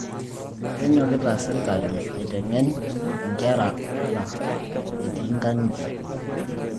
Kenyokita sirkali aiteng'en nkera ata etiinkang'itie